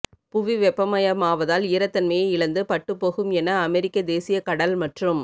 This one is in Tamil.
புவி வெப்பமயமாவதால் ஈரத்தன்மையை இழந்து பட்டுப் போகும் என அமெரிக்க தேசிய கடல் மற்றும்